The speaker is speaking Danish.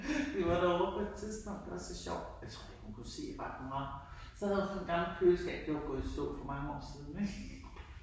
**nonverbal** vi var derovre på et tidspunkt det var så sjovt, jeg tror ikke hun kunne se ret meget, så havde hun sådan et gammelt køleskab. Det var gået i stå for mange år siden ik teknik ik